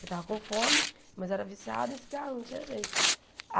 Ele tava com fome, mas era viciado em cigarro, não tinha jeito.